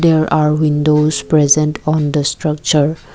there are windows present on the structure.